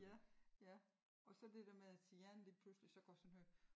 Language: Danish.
Ja ja og så det der med at hjerne lige pludselig så gør sådan her